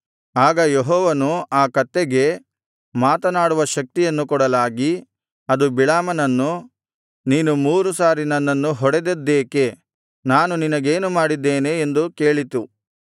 ಆಗ ಯೆಹೋವನು ಆ ಕತ್ತೆಗೆ ಮಾತನಾಡುವ ಶಕ್ತಿಯನ್ನು ಕೊಡಲಾಗಿ ಅದು ಬಿಳಾಮನನ್ನು ನೀನು ಮೂರು ಸಾರಿ ನನ್ನನ್ನು ಹೊಡೆದದ್ದೇಕೆ ನಾನು ನಿನಗೇನು ಮಾಡಿದ್ದೇನೆ ಎಂದು ಕೇಳಿತು